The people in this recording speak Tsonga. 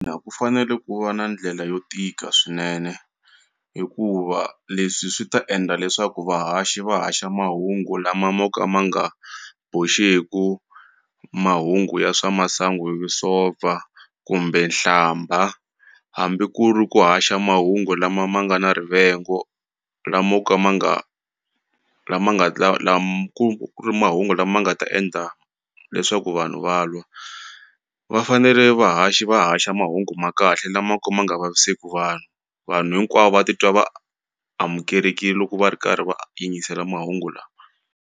ku fanele ku va na ndlela yo tika swinene hikuva leswi swi ta endla leswaku vahaxi va haxa mahungu lama mo ka ma nga boxeku mahungu ya swa masangu hi kumbe hlambha hambi ku ri ku haxa mahungu lama ma nga na rivengo lamo ka ma nga lama nga ku ri mahungu lama nga ta endla leswaku vanhu va lwa va fanele vahaxi va haxa mahungu ma kahle lamo ka ma nga vaviseku vanhu vanhu hinkwavo va titwa va amukelekile loko va ri karhi va yingisela mahungu lawa.